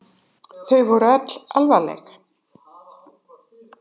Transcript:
Þau voru öll alvarleg.